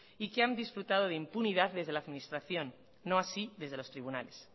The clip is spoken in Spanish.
y que han disfrutado de impunidad desde la administración no así desde los tribunales